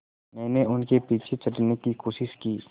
मैंने उनके पीछे चढ़ने की कोशिश की